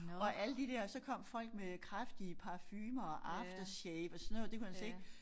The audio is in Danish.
Og alle de der så kom folk med kraftige parfumer og aftershave og sådan noget det kunne han slet ikke